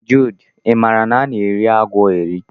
Jude, i maara na a na-eri agwọ eri.?